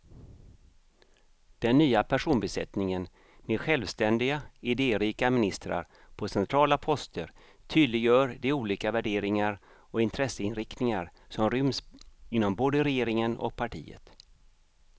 Den nya personbesättningen med självständiga, idérika ministrar på centrala poster tydliggör de olika värderingar och intresseinriktningar som ryms inom både regeringen och partiet.